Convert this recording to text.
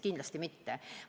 Kindlasti mitte!